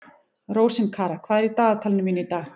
Rósinkara, hvað er í dagatalinu mínu í dag?